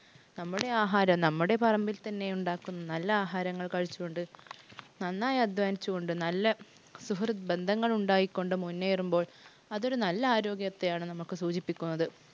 നമ്മുടെ ആഹാരം നമ്മുടെ പറമ്പിൽ തന്നെ ഉണ്ടാക്കുന്ന നല്ല ആഹാരങ്ങൾ കഴിച്ചുകൊണ്ട്, നന്നായി അദ്ധ്വാനിച്ചുകൊണ്ട് നല്ല സുഹൃത്ത് ബന്ധങ്ങൾ ഉണ്ടായികൊണ്ട് മുന്നേറുമ്പോൾ അതൊരു നല്ല ആരോഗ്യത്തെയാണ് നമുക്ക് സൂചിപ്പിക്കുന്നത്.